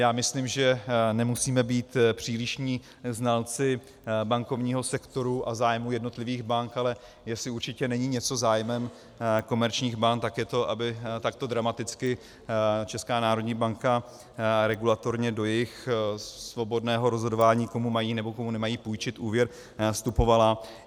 Já myslím, že nemusíme být přílišní znalci bankovního sektoru a zájmu jednotlivých bank, ale jestli určitě není něco zájmem komerčních bank, tak je to, aby takto dramaticky Česká národní banka regulatorně do jejich svobodného rozhodování, komu mají, nebo komu nemají půjčit úvěr, vstupovala.